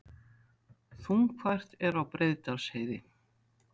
Þungfært er á Breiðdalsheiði